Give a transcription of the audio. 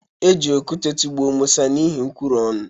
E ji okute tụgbuo Musa n’ihi nkwuru ọnụ